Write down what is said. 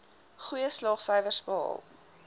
goeie slaagsyfers behaal